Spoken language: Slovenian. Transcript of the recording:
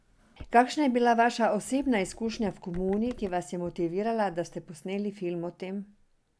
Kakšna je bila vaša osebna izkušnja življenja v komuni, ki vas je motivirala, da ste posneli film o tem?